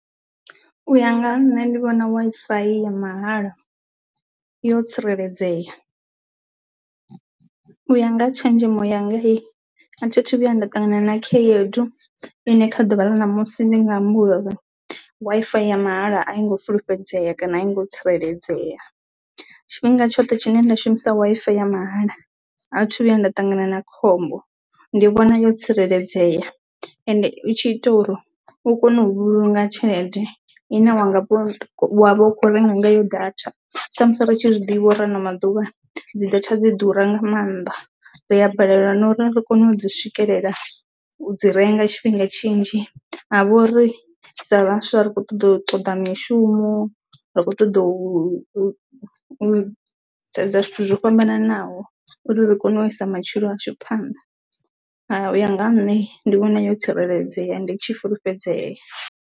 U ya nga ha nṋe ndi vhona Wi-Fi ya mahala yo tsireledzea u ya nga tshenzhemo yanga a thi thu vhuya nda ṱangana na khaedu ine kha ḓuvha ḽa ṋamusi ndi nga amba uri Wi-FI ya mahala a i ngo fulufhedzea kana a i ngo tsireledzea. Tshifhinga tshoṱhe tshine nda shumisa Wi-Fi ya mahala a thithu vhuya nda ṱangana na khombo ndi vhona yo tsireledzea ende u tshi ita uri u kone u vhulunga tshelede i ne wanga wavha u kho renga nga yo data sa musi ri tshi zwiḓivha uri ano maḓuvha dzi data dzi ḓura nga maanḓa, ri a balelwa na uri ri kone u dzi swikelela u dzi renga tshifhinga tshinzhi ha vha uri sa vhaswa ri kho ṱoḓa u ṱoḓa mishumo rikho ṱoḓa u u u sedza zwithu zwo fhambananaho uri ri kone u isa matshilo a shu phanḓa, ha u ya nga nṋe ndi vhona yo tsireledzea nditshi fulufhedzea.